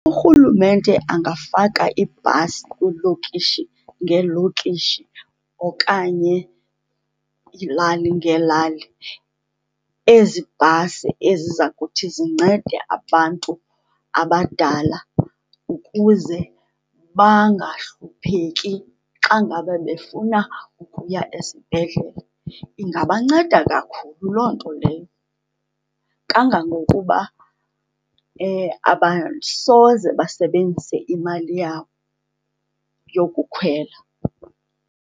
Urhulumente angafaka iibhasi kwiilokishi ngeelokishi okanye kwiilali ngeelali. Ezi bhasi eziza kuthi zincede abantu abadala ukuze bangahlupheki xa ngabe befuna ukuya esibhedlele. Ingabanceda kakhulu loo nto leyo, kangangokuba abasoze basebenzise imali yabo yokukhwela.